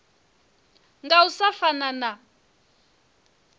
nga u sa fana na